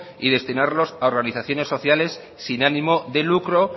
y destinarlos a organizaciones sociales sin ánimo de lucro